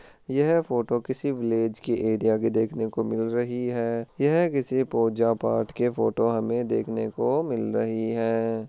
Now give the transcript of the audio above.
यह फोटो किसी विलेज के एरिया की देखने को मिल रही है यह किसी पूजा पाठ की फोटो हमे देखने को मिल रही है।